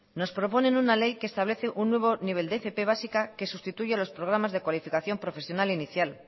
nos proponen una ley que establece un nuevo nivel de fp básica que sustituye los programas de cualificación profesional inicial